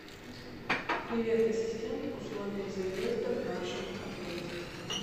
привет ассистент условия заезда в нашем отеле